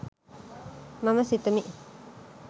මම සිතමි